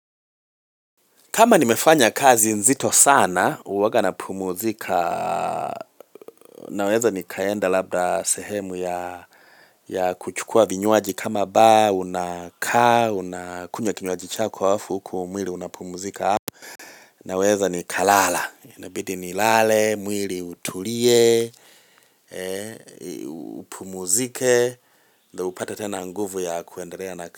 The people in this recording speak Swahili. Kama nimefanya kazi nzito sana, uwaga na pumuzika, naweza ni kaenda labda sehemu ya kuchukua vinyuaji kama ba, unaka, unakunye kinyuaji chako wafu, huku umwili unapumuzika hapu, naweza ni kalala, inabidi ni lale, umwili utulie, umpumuzike, na upata tena nguvu ya kuendelea na ka.